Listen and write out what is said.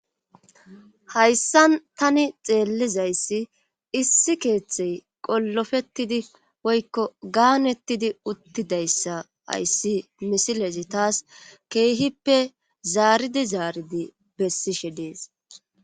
hayssan tani xeellizayssi issi keeththey qollofettidi woykko gaanettidi uttidayssa ayssi misilezi taas keehippe zaaridi zaaridi bessishe dees